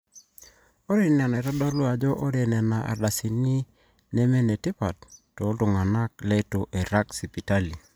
ore ina neitodolu ajo ore nena ardasini nemenetipat tooltung'anak leitu eirag sipitali